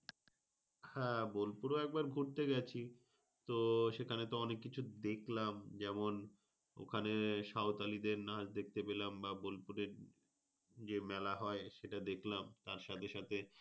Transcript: হ্যাঁ বোলপুর ও একবার ঘুরতে গেছি। তো সেখানে তো অনেক কিছু দেখলাম যেমন ওখানে সাঁওতালি দের নাচ দেখতে পেলাম বা বোলপুরে যে মেলা হয় সেটা দেখলাম। তার সাথে সাথে,